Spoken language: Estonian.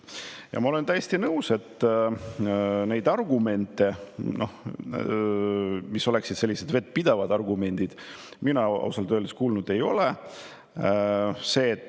Ja ma olen täiesti nõus sellega, et argumente, mis oleksid olnud vettpidavad argumendid, mina ausalt öeldes kuulnud ei ole.